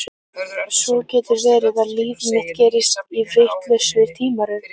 Svo getur verið að líf mitt gerist í vitlausri tímaröð.